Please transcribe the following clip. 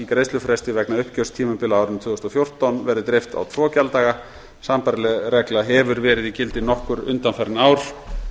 greiðslufresti vegna uppgjörstímabila á árinu tvö þúsund og fjórtán verði dreift á tvo gjalddaga sambærileg regla hefur verið í gildi nokkur undanfarin ár